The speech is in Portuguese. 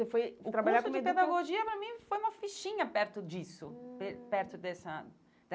Foi trabalhar como educa O curso de pedagogia, para mim, foi uma fichinha perto disso, hum pe perto dessa